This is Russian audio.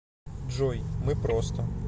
джой мы просто